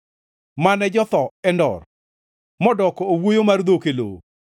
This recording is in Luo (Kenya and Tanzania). mane jotho Endor modoko owuoyo mar dhok e lowo.